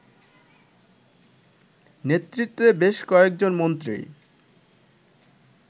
নেতৃত্বে বেশ কয়েকজন মন্ত্রী